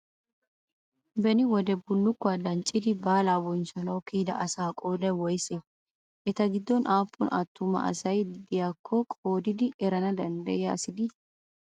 Beni wodee billukkuwaa danccidi baalaa bonchchanawu kiyidaa asa qoodayi woyisee? eta goddon aappun attuma asay diyaakko qoodidi erana dandiyiyaa asi dii?